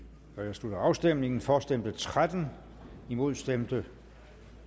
slutter afstemningen for stemte tretten imod stemte